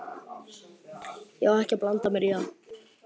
Ég á ekki að blanda mér í það.